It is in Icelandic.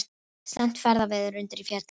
Slæmt ferðaveður undir Fjöllunum